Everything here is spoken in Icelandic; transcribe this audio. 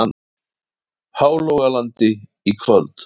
Hálogalandi í kvöld.